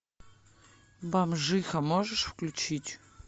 бомжиха можешь включить